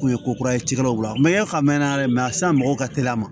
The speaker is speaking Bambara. Kun ye ko kura ye cikɛlaw la mayiga mɛnna dɛ sisan mɔgɔw ka teli a ma